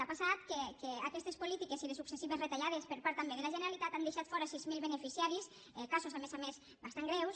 ha passat que aquestes polítiques i les successives retallades per part també de la generalitat han deixat fora sis mil beneficiaris casos a més a més bastant greus